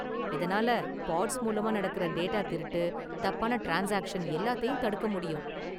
இதனால பாட்ஸ் மூலமா நடக்குற டேட்டா திருட்டு, தப்பான ட்ரான்ஸ்சாக்சன் எல்லாத்தையும் தடுக்க முடியும்.